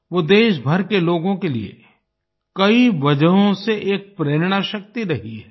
वो देशभर के लोगों के लिए कई वजहों से एक प्रेरणाशक्ति रही हैं